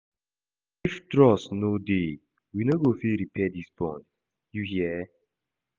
If trust no dey, we no go fit repair dis bond, you hear?